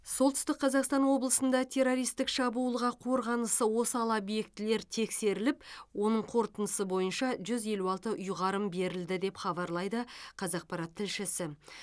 солтүстік қазақстан облысында террористік шабуылға қорғанысы осал объектілер тексеріліп оның қорытындысы бойынша жүз елу алты ұйғарым берілді деп хабарлайды қазақпарат тілшісі